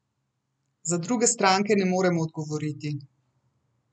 Za druge stranke ne moremo odgovoriti.